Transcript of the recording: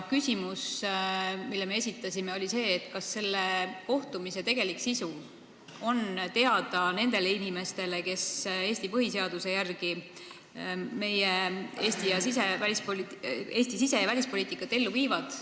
Küsimus, mille me esitasime, oli see, kas selle kohtumise tegelik sisu on teada nendele inimestele, kes Eesti põhiseaduse järgi meie sise- ja välispoliitikat ellu viivad.